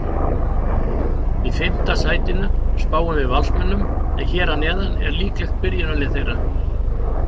Í fimmta sætinu spáum við Valsmönnum en hér að neðan er líklegt byrjunarlið þeirra.